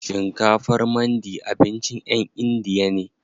Shinkafar mandi abincin ƴan indiya ne.